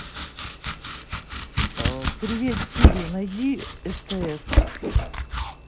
привет сири найди стс